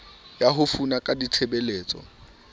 ya ho fana ka ditshebeletso